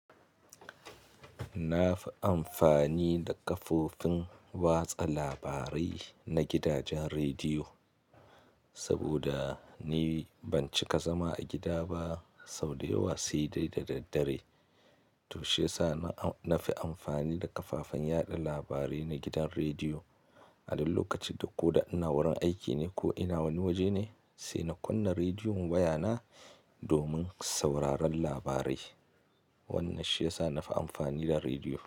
Na fi amfani da kafofin watsa labarai na gidajen rediyo, saboda ni ban cika zama a gida ba sau da yawa sai dai da daddare. To shi yasa na fi amfani da kafafen yaɗa labarai na gidan rediyo. A duk lokacin da ko da ina wurin aiki ne ko ina wani waje ne, sai na kunna rediyon wayana domin sauraron labarai. Wannan shi ya sa na fi amfani da rediyo.